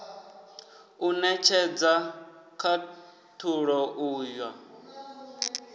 u netshedza khathulo u ya